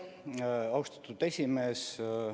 Austatud esimees!